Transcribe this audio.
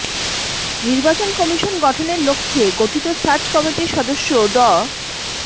নির্বাচন কমিশন গঠনের লক্ষ্যে গঠিত সার্চ কমিটির সদস্য ড